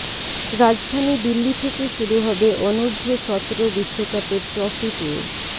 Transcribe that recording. রাজধানী দিল্লি থেকে শুরু হবে অনূর্ধ্ব সতরো বিশ্বকাপের ট্রফি ট্যুর